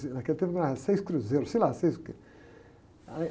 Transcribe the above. Naquele tempo não era, eram seis cruzeiros, sei lá, seis o quê. Aí...